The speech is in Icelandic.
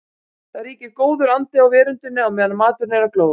Það ríkir góður andi á veröndinni á meðan maturinn er að glóðast.